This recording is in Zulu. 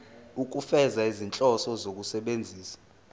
ukufeza izinhloso zokusebenzisa